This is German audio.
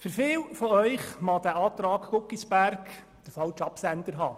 Für viele von Ihnen mag die Planungserklärung Guggisberg den falschen Absender tragen.